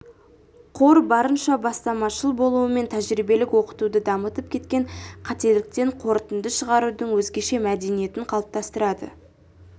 қор барынша бастамашыл болу мен тәжірибелік оқытуды дамытып кеткен қателіктен қорытынды шығарудың өзгеше мәдениетін қалыптастырады